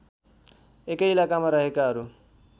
एकै इलाकामा रहेकाहरू